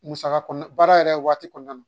Musaka kɔ baara yɛrɛ waati kɔnɔna na